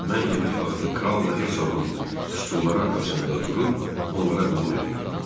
Mən yemək vaxtı kralla Hercoqun stulları arxasında durub onlara qulluq edirdim.